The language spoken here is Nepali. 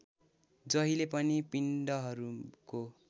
जहिले पनि पिण्डहरूको